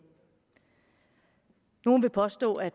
nogle vil påstå at